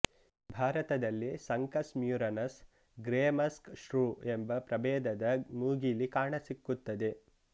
ಭಾರತದಲ್ಲಿ ಸಂಕಸ್ ಮ್ಯೂರಿನಸ್ ಗ್ರೇ ಮಸ್ಕ್ ಶ್ರೂ ಎಂಬ ಪ್ರಭೇದದ ಮೂಗಿಲಿ ಕಾಣಸಿಕ್ಕುತ್ತದೆ